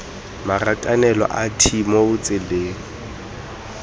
marakanelo a t moo ditsela